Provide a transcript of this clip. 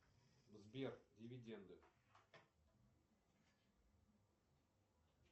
сбер дивиденды